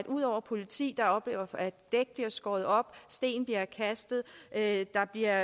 ud over politiet der oplever at dæk bliver skåret op at der bliver